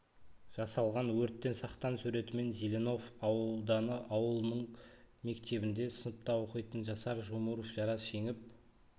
жасалған өрттен сақтан суретімен зеленов ауданы ауылының мектебінде сыныпта оқитын жасар жумуров жарас жеңіп